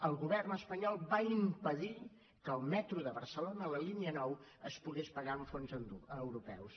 el govern espanyol va impedir que el metro de barcelona la línia nou es pogués pagar amb fons europeus